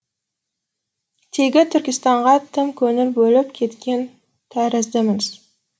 тегі түркістанға тым көңіл бөліп кеткен тәріздіміз